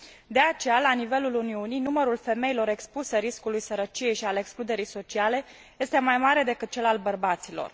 De aceea, la nivelul Uniunii, numărul femeilor expuse riscului sărăciei și al excluderii sociale este mai mare decât cel al bărbaților.